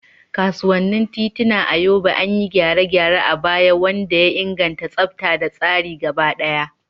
Kasuwannin tituna a Yobe an yi gyare-gyare a baya, wanda ya inganta tsafta da tsari gaba daya.